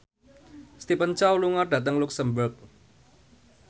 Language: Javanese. Stephen Chow lunga dhateng luxemburg